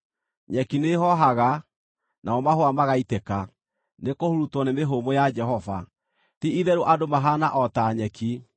Nyeki nĩĩhoohaga, namo mahũa magaitĩka, nĩkũhurutwo nĩ mĩhũmũ ya Jehova. Ti-itherũ andũ mahaana o ta nyeki.